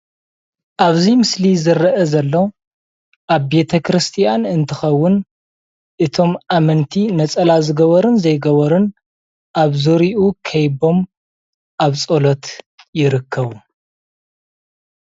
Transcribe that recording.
ኣብዚ ምስሊ ዝረአ ዘሎ ኣብ ቤተ ክርስትያን እንትኸውን እቶም ኣመንቲ ነፀላ ዝገበሩን ዘይገበሩን ኣብ ዝርይኡ ከቢቦም ኣብ ፀሎት ይርከቡ፡፡